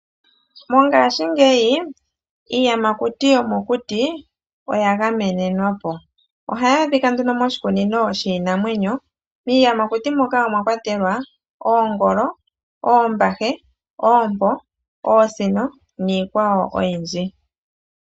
Mongaashingeyi iiyamakuti yomokuti oya gamenenwa po. Ohayi adhika nduno moshikunino shiinamwenyo. Miiyamakuti muka omwakwatelwa, oongolo, oombahe, oompo, oosino niikwawo oyindji.